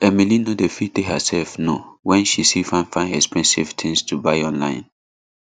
emily no dey fit tell herself no when she see fine fine expensive things to buy online